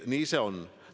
Nii see on.